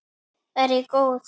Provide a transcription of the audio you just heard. Er ég góð?